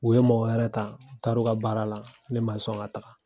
U ye mɔgɔ wɛrɛ ta u taara u ka baara la , ne ma sɔn ka taa.